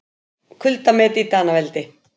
Kuldamet í Danaveldi